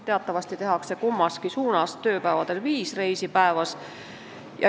Teatavasti tehakse kummaski suunas tööpäevadel viis reisi päevas.